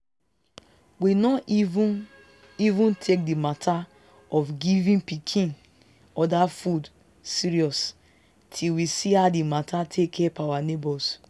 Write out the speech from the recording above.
we no even even take the matter of giving pikin other food serious till we see how the matter take help our neighbors.